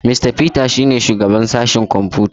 Mista Peter shi ne shugaban sashen kwamfuta.